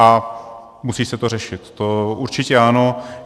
A musí se to řešit, to určitě ano.